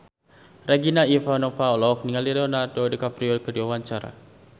Regina Ivanova olohok ningali Leonardo DiCaprio keur diwawancara